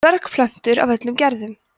dvergplöntur af öllum gerðum